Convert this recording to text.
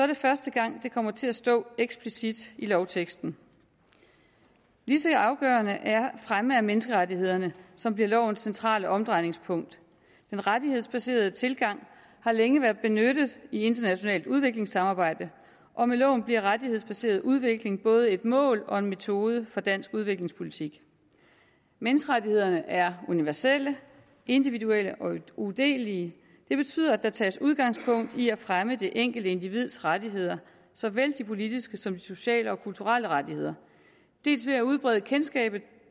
det første gang det kommer til at stå eksplicit i lovteksten lige så afgørende er fremme af menneskerettighederne som bliver lovens centrale omdrejningspunkt den rettighedsbaserede tilgang har længe været benyttet i internationalt udviklingssamarbejde og med loven bliver rettighedsbaseret udvikling både et mål og en metode for dansk udviklingspolitik menneskerettighederne er universelle individuelle og udelelige det betyder at der tages udgangspunkt i at fremme det enkelte individs rettigheder såvel de politiske som de sociale og kulturelle rettigheder dels ved at udbrede kendskabet